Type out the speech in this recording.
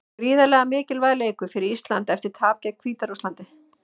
Gríðarlega mikilvægur leikur fyrir Ísland eftir tapið gegn Hvíta-Rússlandi.